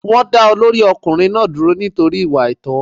Wọ́n dá olórí ọkùnrin náà dúró nítorí ìwà àìtó.